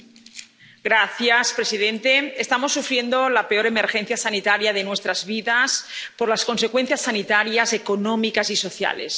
Señor presidente, estamos sufriendo la peor emergencia sanitaria de nuestras vidas en cuanto a consecuencias sanitarias, económicas y sociales.